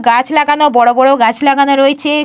গাছ লাগানো বড়ো বড়ো গাছ লাগানো রয়েছে।